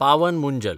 Pawan Munjal